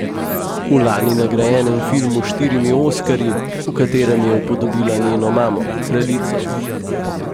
V lani nagrajenem filmu s štirimi oskarji, v katerem je upodobila njeno mamo, kraljico .